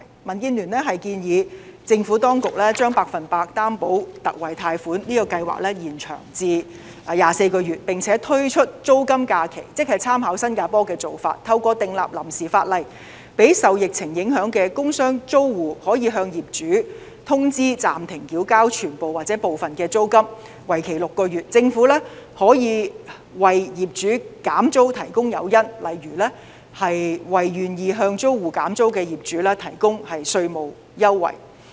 民建聯建議政府當局，將百分百擔保特惠貸款計劃延長24個月，並且推出租金假期，即參考新加坡的做法，透過訂立臨時法例，讓受疫情影響的工商租戶，可以向業主通知暫停繳交全部或部分租金，為期6個月，政府可以為業主減租提供誘因，例如為願意向租戶減租的業主提供稅務優惠。